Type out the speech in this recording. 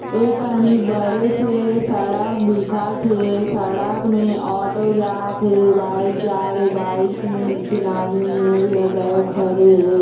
एकनि बड़े से सड़क दिखत हे सड़क में ऑटो जात हे बाइक जात हे बाइक में एक झीन आदमी हे जो हा बैग धरे हे।